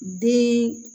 Den